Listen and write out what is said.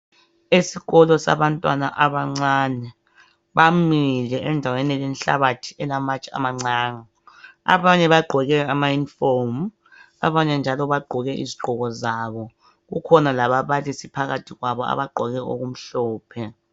Esikolo sabantwana abancane bamile endaweni elenhlabathi elamatshe amancane abanye bagqoke ama "uniform" abanye njalo bagqoke izigqoko zabo kukhona lababalisi phakathi kwabo abagqoke okumhlophe.